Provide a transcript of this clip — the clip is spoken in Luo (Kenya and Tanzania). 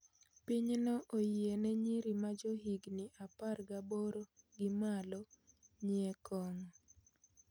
Pinyno oyie ne nyiri ma johigni apar gaboro gi malo nyie kong'o